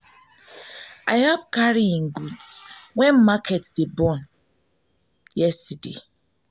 i help carry im goods wen market dey burn market dey burn yesterday.